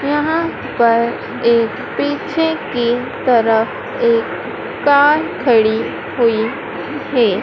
यहां पर एक पीछे की तरफ एक कार खड़ी हुई है।